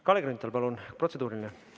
Kalle Grünthal, palun, protseduuriline!